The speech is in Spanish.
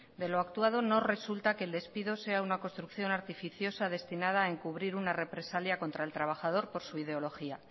de lo actuado no resulta que el despido sea una construcción artificiosa destinada a encubrir una represalia contra el trabajador por su ideología